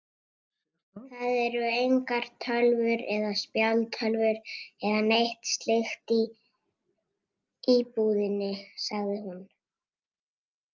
Það eru engar tölvur eða spjaldtölvur eða neitt slíkt í íbúðinni, sagði hún.